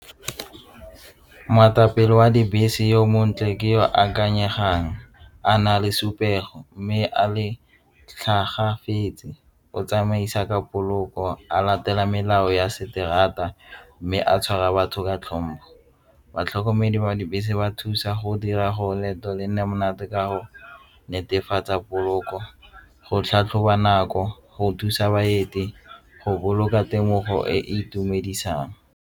Moetapele wa dibese yo montle ke yo a ikanyegang a na le mme a le tlhagafetse o tsamaisa ka poloko a latela melao ya se terata mme a tshwara batho ka tlhompho. Batlhokomedi ba dibese ba thusa go dira go leeto le nne monate ka go netefatsa poloko go tlhatlhoba nako go thusa baeti go boloka temogo e e itumedisang.